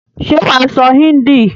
Ṣé wà á sọ hindi?